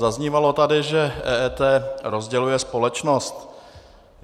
Zaznívalo tady, že EET rozděluje společnost.